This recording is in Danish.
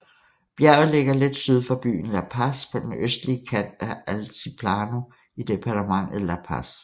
Bjerget ligger lidt syd for byen La Paz på den østlige kant af Altiplano i departementet La Paz